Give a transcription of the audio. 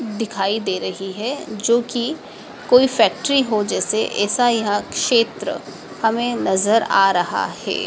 दिखाई दे रही है जो की कोई फैक्ट्री हो जैसे ऐसा यहां क्षेत्र हमें नजर आ रहा है।